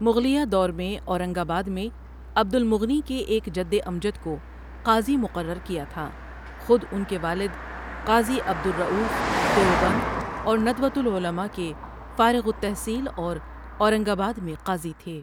مغلیہ دور میں اورنگ آباد میں عبد المغنی کے ایک جد امجد کو قاضی مقرر کیا تھا خود ان کے والد قاضی عبد الرؤف دیوبند اور ندوۃالعلماء کے فارغ التحصیل اور اورنگ آباد میں قاضی تھے ۔